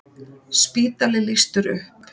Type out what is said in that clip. Spítali lýstur upp